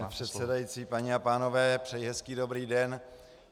Pane předsedající, paní a pánové, přeji hezký dobrý den.